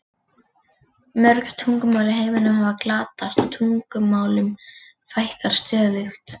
Mörg tungumál í heiminum hafa glatast og tungumálum fækkar stöðugt.